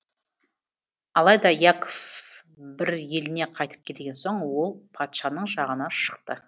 алайда яков бір еліне қайтып келген соң ол патшаның жағына шықты